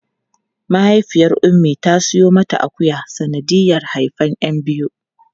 Mahaifiyar Ummi ta siyo mata akuya sanadiyar haifan 'yan biyu.